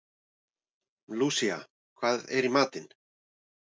Lúsía, hvað er í matinn?